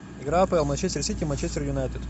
игра апл манчестер сити манчестер юнайтед